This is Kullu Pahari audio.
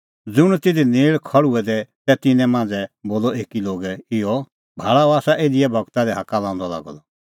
ज़ुंण तिधी नेल़ तै खल़्हुऐ दै तिन्नां मांझ़ै बोलअ कई लोगै इहअ भाल़ा अह आसा एलियाह गूरा लै हाक्का लांदअ लागअ द